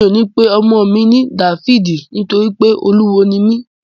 Mi ò ní pe ọmọ mi ní Dáfídì nítorí pé Olúwo ni mí